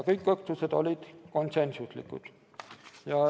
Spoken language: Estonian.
Kõik otsused olid konsensuslikud.